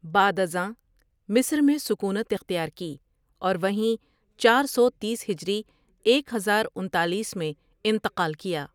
بعد ازاں مصر میں سکونت اختیار کی اور وہیں چار سو تیس ہجری ایک ہزار انتالیس میں انتقال کیا ۔